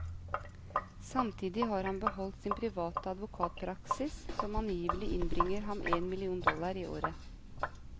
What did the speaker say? Samtidig har han beholdt sin private advokatpraksis, som angivelig innbringer ham en million dollar i året.